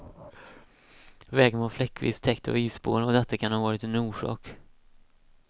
Vägen var fläckvis täckt av isspår och detta kan ha varit en orsak.